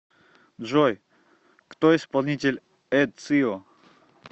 джой кто исполнитель эцио